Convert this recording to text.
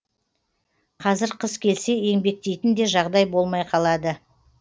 қазір қыс келсе еңбектейтін де жағдай болмай қалады